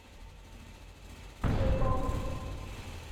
кей поп